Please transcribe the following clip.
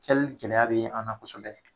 gɛlɛya bɛ an na kosɛbɛ